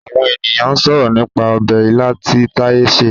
Àwọn ènìyàn ń sọ̀rọ̀ nípa ọbẹ̀ ilá tí Taiye sè